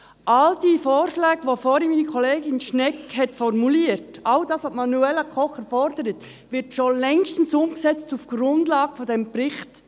All diese Vorschläge, die vorhin meine Kollegin Schnegg formuliert hat, all das, was Manuela Kocher fordert, wird auf der Grundlage dieses Berichts schon längstens umgesetzt.